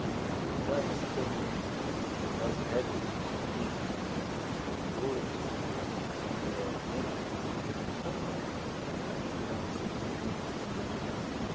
Né então, essa coisa de de do das regras do socialismo, da da do controle socialista, eh né na na Revolução, ela ela não é tão grande assim como algumas pessoas imagina